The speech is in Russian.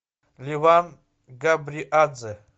леван габриадзе